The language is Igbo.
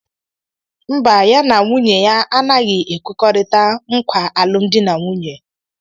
Mba, ya na nwunye ya anaghị ekwekọrịta nkwa alụmdi na nwunye.